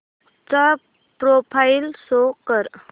चा profile show कर